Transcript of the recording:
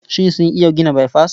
Shin sun iya gina baifas?